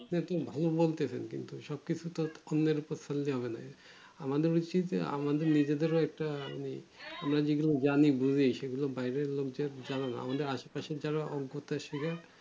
সব কিছুতেই কিন্তু আমাদের উচিত আমাদের নিজেদেরও দামি জিনিস আমাদের আশেপাশে যারা